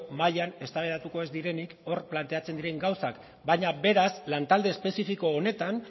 mahian eztabaidatuko ez direnik hor planteatzen diren gauzak baina beraz lantalde espezifiko honetan